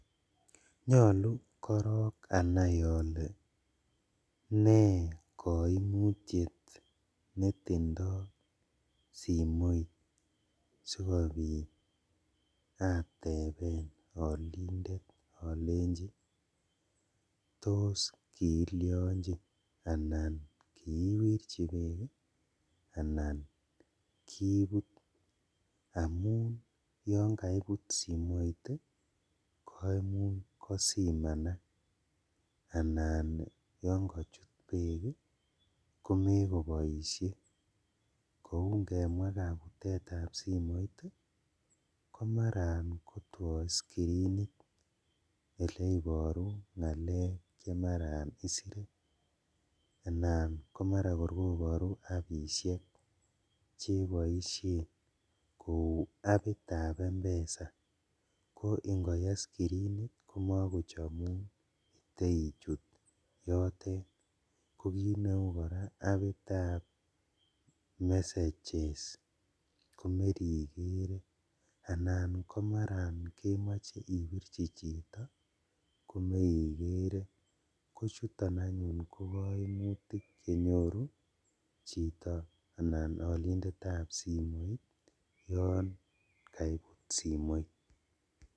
Nyolu korong anai ole ne koimutiet netindo simoit sikobit ateben olindet olenji tos kiilionji anan kiiwirji beek anan kibut, amun yon kaibut simoit koimuch kosimanak anan yon kochut beek ii kou ingemwaa kabutetab simoit ii komaran kotwo iscreenit ele inoru ngalek chemaran isire anan komaran kor koboru appishek cheboishen lou apitab m-pesa ko ingoye iscreenit komokochomun iteuichut yotet, kokiit neu koraa apitab messages anan komaran kemoche ibirji chito komeikere kochuton anyun kokoimutik chenyoru chito anan olindetab simoit yon kaibut simoit.